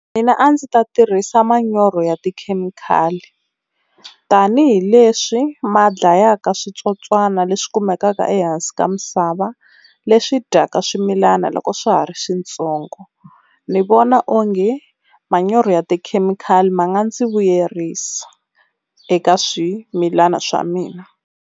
Mina a ndzi ta tirhisa manyoro ya tikhemikhali tanihileswi ma dlayaka switsotswana leswi kumekaka ehansi ka misava, leswi dyaka swimilana loko swa ha ri swintsongo ni vona onge manyoro ya tikhemikhali ma nga ndzi vuyerisa eka swimilana swa mina.